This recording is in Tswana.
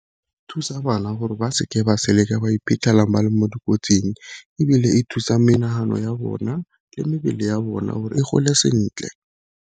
Thusa bana gore ba seke ba ba iphitlhela ba le mo dikotsing, ebile e thusa menagano ya bona le mebele ya bona gore e gole sentle.